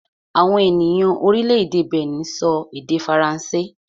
Àwọn ènìyàn orílẹ̀-èdè Benin sọ èdè Faransé